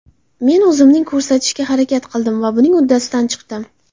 Men o‘zimning ko‘rsatishga harakat qildim va buning uddasidan chiqdim.